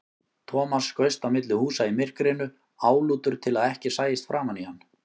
Thomas skaust á milli húsa í myrkrinu, álútur til að ekki sæist framan í hann.